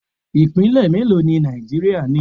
Ipinle mélòó ni Nàìjíríà ni?